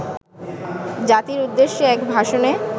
জাতির উদ্দেশ্যে এক ভাষণে